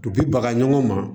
baga ɲɔgɔn ma